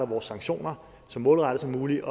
vores sanktioner så målrettet som muligt